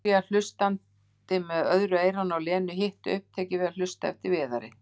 Júlía hlustandi með öðru eyranu á Lenu, hitt upptekið af að hlusta eftir Viðari.